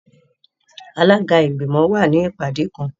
Alaga igbimọ wa ni ipade kan.